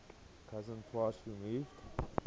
cousin twice removed